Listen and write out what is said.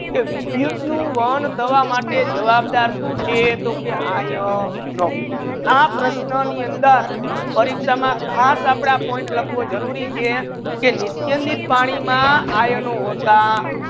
કે વિદ્યુત નુ વહન થવા માતે જવાબદાર સુ છે તો કે આયનો આ પ્રશ્નો ની અંદર પરિક્ષા માં ખાસ આપડે point લાખવા જરુરી છે નિસ્યંદિત પાની મા આયનો